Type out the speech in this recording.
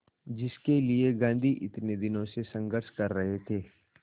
जिसके लिए गांधी इतने दिनों से संघर्ष कर रहे थे